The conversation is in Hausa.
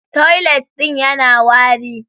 Toilet din yana wari.